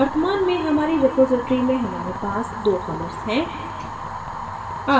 वर्तमान में हमारी repository में हमारे पास दो commits हैं